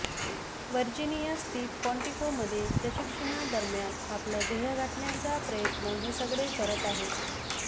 Virginia स्थित क्वांटिकोमध्ये प्रशिक्षणादरम्यान आपलं ध्येय गाठण्याचा प्रयत्न हे सगळे करत आहे